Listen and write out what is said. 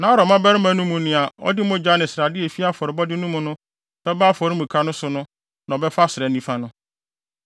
Na Aaron mmabarima no mu nea ɔde mogya ne srade a efi afɔrebɔde no mu no bɛba afɔremuka no so no na ɔbɛfa srɛ nifa no.